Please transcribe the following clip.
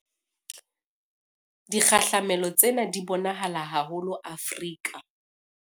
Dikgahlamelo tsena di bo nahala haholo Afrika